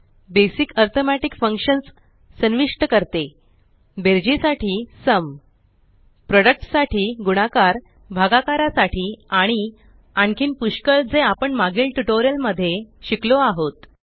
basic arithmetic functions संविष्ट करते बेरजेसाठी सुम प्रोडक्ट साठी गुणाकार भागाकारासाठी आणि आणखीन पुष्कळ जे आपण मागील ट्यूटोरियल मध्ये शिकलो आहोत